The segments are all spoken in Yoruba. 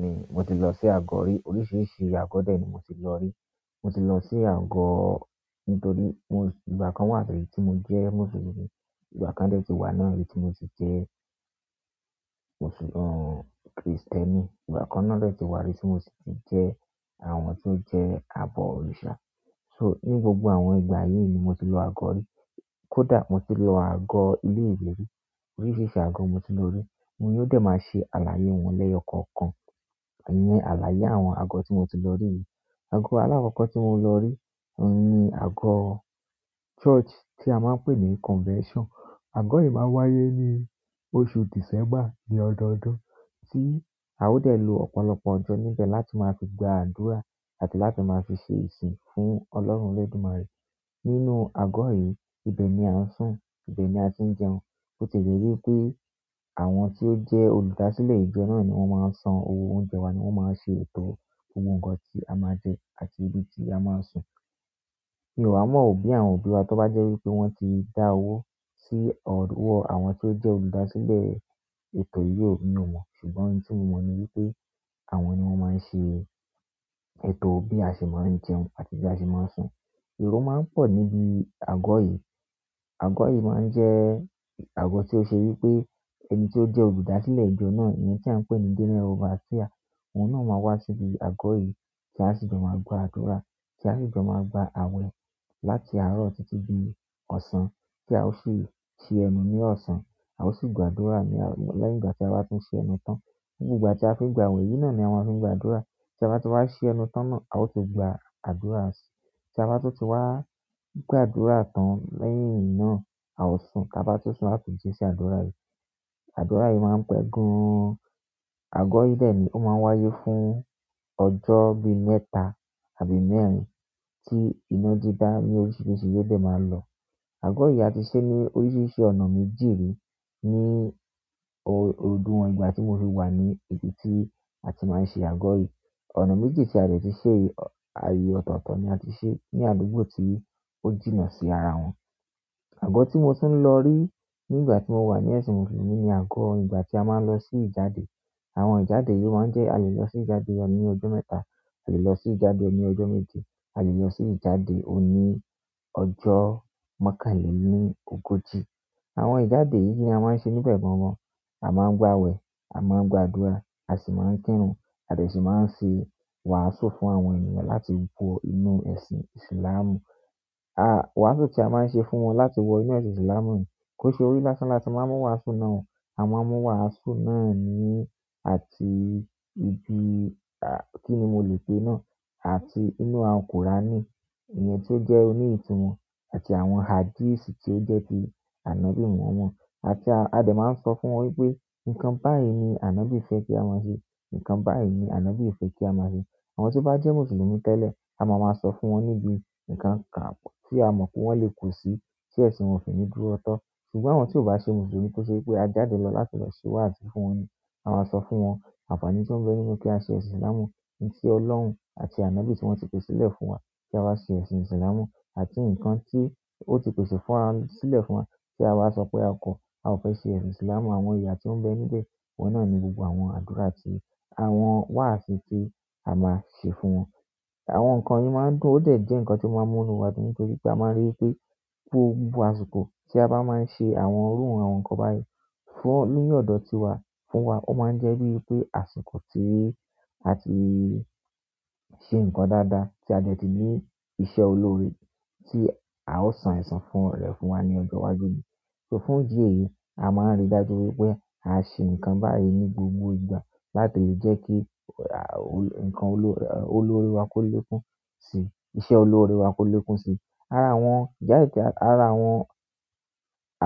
Bẹ́ẹ̀ni, mo ti lọ sí àgọ́ rí. Oríṣiríṣi àgọ́ dẹ̀ ni mo ti lọ rí. Mo ti lọ sí àgọ́ nítorí ìgbà kan wà tí rí tí mo jẹ́ Mùsùlùmí, ìgbà kan dẹ ti wà ní rí tí mo ti jẹ́ Krìstẹ́nì, ìgbà kan náà dẹ ti wà rí tí mo sì ti jẹ́ àwọn tó jẹ́ àbọ̀ òrìṣà. Ní gbogbo àwọn ìgbà yí ni mo ti lọ àgọ́ rí. Kódà mo ti lo agọ́ ilé ìwé rí. Oríṣiríṣi àgọ́ mo ti lọ rí. N yóò dẹ̀ máa ṣe àlàyé wọn lẹ́yọ̀ kọ̀ọ̀kan. Àní àlàyé àwọn àgọ́ tí mo ti lọ rí yìí. Àgọ́ alákọ̀ọ́kọ́ tí mo ti lọ rí ni àgọ́ church tí a máa ń pè ní convention. Àgọ́ yìí máa ń wáyé ní oṣù december ní ọdọọdún tí a ó dẹ̀ lo ọ̀pọ̀lọpọ̀ ọjọ́ níbẹ̀ láti máa fi gba àdúrà àti láti máa fi ṣe ìsìn fún Ọlọ́run Olódùmarè. Nínú àgọ́ yìí, ibẹ̀ ni a ń sùn, ibẹ̀ ni a ti ń jẹun. O tie jé wípé àwọn tí ó jẹ́ olùdásílẹ̀ ìjọ náà ni wọ́n máa ń san owó oúnjẹ wa ni wọ́n máa ń ṣe ètò gbogno ohun kan tí a máa jẹ àti ibi tí a máa sùn. Mi o wa mọ́ o boya òbí wa tó bá jẹ́ wí pé wọ́n ti dá owó sí ọwọ́ àwọn tí ó jẹ́ olùdásílẹ̀ ètò yìí ò mi ọ̀ mọ̀. Ṣùgbọ́n ohun tí mo mọ̀ ni wípé àwọn ni wọ́n máa ń ṣe ètò bí a ṣe máa ń jẹun àti bí a ṣe máa ń sùn. Èrò máa ń pọ̀ níbi àgọ́ yìí. Àgọ́ yìí máa ń jẹ́ àgọ́ tí ó ṣe wí pé ẹni tí ó jẹ́ olùdásílẹ̀ ìjọ náà, èyí tí à ń pè ní general overseer, ọ̀un náà máa wá síbi àgọ́ yìí tí a sì jọ̀ máa gba àdúrà, tí a sì jọ̀ máa gba àwẹ̀ láti àárọ̀ títí di ọ̀sán tí a ó sì ẹnu ní ọ̀sán. A ó sì gba àdúrà lẹ́yìn ìgbà tí a bá tún ṣi ẹnu tán. Ni gbogbo ìgbà tí a fi ń gba awẹ́ yìí náà ni à maa n fi ń gba àdúrà. Tí a bá ti wá ṣi ẹnu tán náà, a ó tún gba àdúrà sí. Tí a bá tun ti wá gba àdúrà tán lẹ́yìn náà a o sùn, tí a bá tó sùn a tún ji sí àdúrà yìí. Àdúrà yìí máa ń pẹ́ gan. Àgọ́ yìí dẹ̀ ní ó máa ń wáyé fún ọjọ́ bí mẹ́ta àbí mẹ́rin tí iná dídá ní oríṣiríṣi yóò dẹ̀ máa lọ. Àgọ́ yìí a ti ṣe ní oríṣiríṣi ọ̀nà méjì rí ní ọdún wọn ìgbà tí mo fi wà ní ibi tí a ti máa ń ṣe àgọ́ yìí. Ọ̀nà méjì tí a dẹ̀ ti ṣe àyè ọ̀tọ̀ọ̀tọ̀ ni a ti ṣe ní àdúgbò tí ó jìnnà sí ara wọn. Àgọ́ tí mo tún lọ rí ní ìgbà tí mo wà ní ẹ̀sìn Mùsùlùmí ni àgọ́ ìgbà tí a máa ń lọ sí ìjáde. Àwọn ìjáde yìí o máa ń jẹ́ a lè lọ sí ìjáde ní ọjọ́ mẹ́ta, a lè lọ sí ìjáde ní ọjọ́ méje, a lè lọ sí ìjáde òní ọjọ́ mọ́kànlẹ́ ní ogójì. Àwọn ijade yi kini a maa n se níbẹ̀ gangan. A máa ń gba awẹ, a máa ń gba àdúrà, a sì máa ń kírun àti sì máa ń ṣe wàásù fún àwọn ènìyàn láti wọ inú ẹ̀sìn Ìsìlámù. Iwàásù tí a máa ń ṣe fún wọn láti wọ inú ẹ̀sìn Ìsìlámù yìí kó ṣe orí lásán láti máa mú wàásù náà wọ̀n. Àwọn máa mú wàásù náà ni àti ibi, kíni mo lè pè náà? Àti inú àwọn qùránì, èyí tí ó jẹ́ òní ìtumọ̀ àti àwọn hadítì tí ó jẹ́ ti Ànábì mọ̀hamun. Àti a dẹ̀ máa ń sọ fún wọn wípé nǹkan báyìí ni Ànábì fẹ́ kí a máa ṣe, nǹkan báyìí ni Ànábì fẹ́ kí a máa ṣe. Àwọn tí ó bá jẹ́ Mùsùlùmí tẹ́lẹ̀, a máa máa sọ fún wọn níbi nǹkan kan tí a mọ̀ pé wọ́n lè kù sí tí ẹ̀sìn wọn ò fi ní dúró tọ́. Ṣùgbọ́n àwọn tí ò bá ṣe Mùsùlùmí kó ṣe wí pé a jáde lọ láti lọ ṣẹ́ wáasi fún wọn ni. A máa sọ fún wọn àǹfààní tí o bẹ nínú kí a ṣe Ìsìlámù. N tí Ọlọ́run àti Ànábì tí wọ́n ti pèsè lẹ̀ fún wa kí a wá ṣe ẹ̀sìn Ìsìlámù àti ǹkan tí ó ti pèsè fún wa, sílẹ̀ fún wa tí a bá sọ pé a kọ̀, a ò fẹ́ ṣe ẹ̀sìn Ìsìlámù. Àwọn ìyà tí ó ń bẹ níbẹ̀, ohun náà ni gbogbo àwọn àdúrà àti àwọn wàásù tí a máa ṣe fún wọn. Àwọn nǹkan yìí máa ń dùn ó dẹ̀ jẹ́ ǹkan tí ó máa ń múnu wa dùn nítorí pé a máa ń rí i pé gbogbo àsìkò tí a bá máa ń ṣe àwọn iru àwọn nǹkan báyìí fún, nínú ọ̀dọ̀ tíwa, fún wa, ó máa ń jẹ́ bíi pé àsìkò ti àti ṣe ǹkan dáadáa tí a dẹ̀ ti ní iṣẹ́ olóre tí a ó san esàn fún rẹ̀ fún wa ní ọjọ́ iwájú ni. So fún ìdí èyí, a máa ń rí dájú wípé à ṣe ǹkan báyìí ní gbogbo ìgbà láti jẹ́ kí, nǹkan olóre wa kó lékuǹ sí, iṣẹ́ olóre wa kó lékuǹ si. Ara wọn, jáde tí ara wọn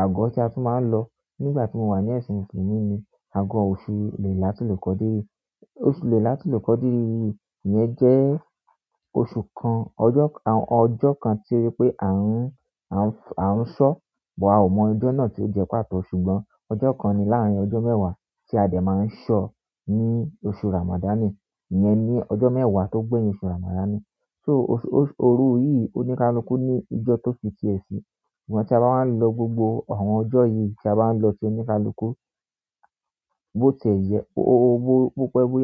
àgọ́ tí a tún máa ń lọ nígbà tí mo wà ní ẹ̀sìn Mùsùlùmí ni àgọ́ oṣù lè láti lè kọ́ dé. Oṣù lè láti lè kọ́di yìí iyen jẹ́ oṣù kan, ọjọ́ kan tí jepe wípé à ń sọ̀, bọ̀ a ò mọ ọjọ́ náà tí ó jẹ́ pàtó ṣùgbọ́n ọjọ́ kan ni láàrín ọjọ́ mẹ́wàá tí a dẹ̀ máa ń sọ ní oṣù Ramadanì. Ìyẹn ni ọjọ́ mẹ́wàá tó gbéyin oṣù Ramadanì. So, oṣù, òru yìí oníkálukú ní ijọ́ ti o fi ti e si. Ṣùgbọ́n, ti a ba wa n lo gbogbo àwọn ojo yìí, ti a ba n lo ti onikaluku, bo ti e je, bo pe boya.